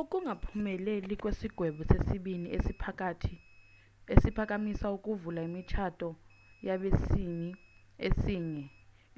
ukungaphumeleli kwesigwebo sesibini esiphakamisa ukuvala imitshato yabesini esinye